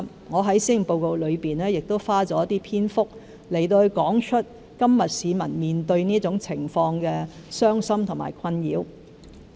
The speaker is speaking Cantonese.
我在施政報告內亦花了一些篇幅，提述現時市民面對這種情況的傷心和困擾。